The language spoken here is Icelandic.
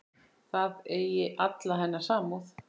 Það eigi alla hennar samúð.